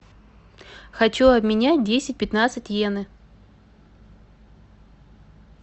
хочу обменять десять пятнадцать йены